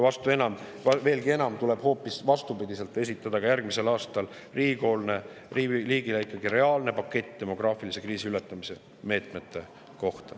Veelgi enam, riigil tuleb hoopis vastupidiselt esitada järgmisel aastal reaalne demograafilise kriisi ületamise meetmete pakett.